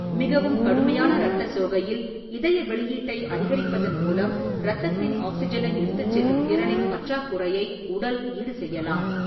மிகவும் கடுமையான இரத்த சோகையில், இதய வெளியீட்டை அதிகரிப்பதன் மூலம் இரத்தத்தின் ஆக்ஸிஜனை எடுத்துச் செல்லும் திறனின் பற்றாக்குறையை உடல் ஈடுசெய்யலாம்.